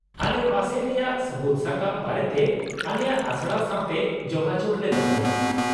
-ᱟᱞᱮ ᱯᱟᱥᱮ ᱨᱮᱭᱟᱜ ᱥᱟᱹᱵᱩᱫ ᱥᱟᱠᱟᱢ ᱵᱟᱨᱮᱛᱮ ᱟᱞᱮᱭᱟᱜ ᱟᱥᱲᱟ ᱥᱟᱶᱛᱮ ᱡᱳᱜᱟᱡᱳᱜ ᱞᱮ ᱫᱚᱦᱚᱭᱟ ᱾